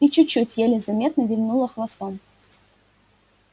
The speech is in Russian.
и чуть-чуть еле заметно вильнула хвостом